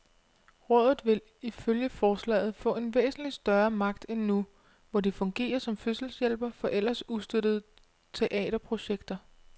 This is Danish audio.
Rådet vil ifølge forslaget få en væsentligt større magt end nu, hvor det fungerer som fødselshjælper for ellers ustøttede teaterprojekter.